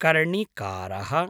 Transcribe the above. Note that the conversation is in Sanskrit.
कर्णिकारः